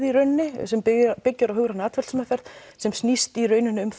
í rauninni sem byggir á hugrænni atferlismeðferð sem snýst í rauninni um